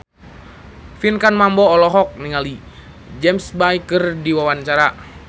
Pinkan Mambo olohok ningali James Bay keur diwawancara